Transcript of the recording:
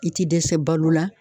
I te dɛsɛ balo la